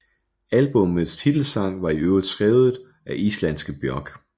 Albummets titelsang var i øvrigt skrevet af islandske Björk